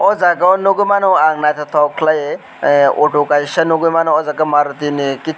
aw jaaga o nugui mano ang nythok kwlaio ahh auto kaisa nugui mano aw jaaga maruti ni.